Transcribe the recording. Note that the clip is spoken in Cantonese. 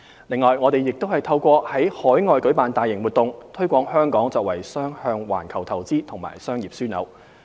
另外，我們亦透過在海外舉辦大型活動，推廣香港作為雙向環球投資及商業樞紐。